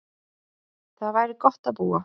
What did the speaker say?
Þar væri gott að búa.